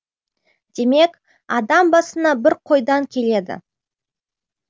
демек адам басына бір қойдан келеді